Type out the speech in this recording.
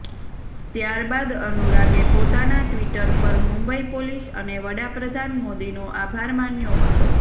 ત્યારબાદ અનુરાગે પોતાના ટ્વીટર પર મુંબઇ પોલીસ અને વડાપ્રધાન મોદીનો આભાર માન્યો હતો